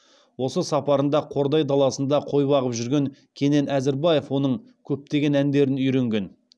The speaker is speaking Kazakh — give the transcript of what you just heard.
осы сапарында қордай даласында қой бағып жүрген кенен әзірбаев оның көптеген әндерін үйренген